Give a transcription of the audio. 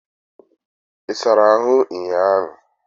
I sara ahu unyiahu?